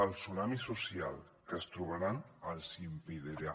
el tsunami social que es trobaran els ho impedirà